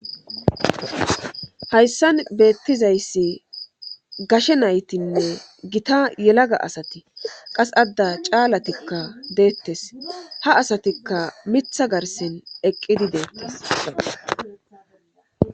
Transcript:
hayssan beettizayssi gashe naytinne gita yelaga asati qas adda caalatikka deettes ha asatikka mitha garsen eqqidi deettes